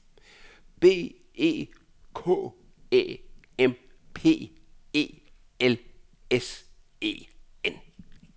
B E K Æ M P E L S E N